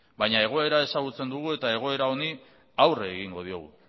baina egoera ezagutzen dugu eta helburu honi aurre egingo diogu